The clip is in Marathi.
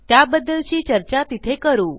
त्याबद्दलची चर्चा तिथे करू